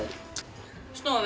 snúa við